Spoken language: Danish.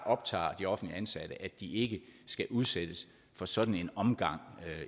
optager de offentligt ansatte at de ikke skal udsættes for sådan en omgang